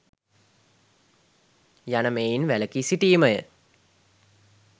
යන මෙයින් වැලකී සිටීමය.